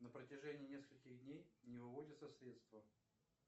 на протяжении нескольких дней не выводятся средства